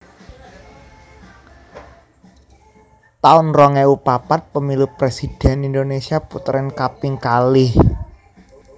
taun rong ewu papat Pemilu Presidhèn Indonesia Puteran kaping kalih